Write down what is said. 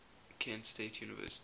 kent state university